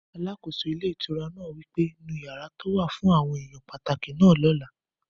Alákóso ilé ìtura náà wí pé, "nu yàrá tó wà fún àwọn èèyàn pàtàkì náà ní ọ̀la